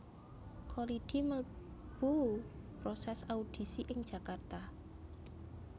Kholidi melu proses audisi ing Jakarta